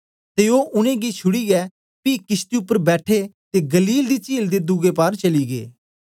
ते ओ उनेंगी छुड़ीयै पी किशती उपर बैठे ते गलील दी चील दे दुए पार चली गै